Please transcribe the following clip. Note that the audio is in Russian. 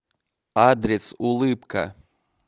адрес улыбка